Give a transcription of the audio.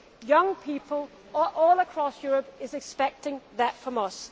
Young people all across Europe are expecting that from us.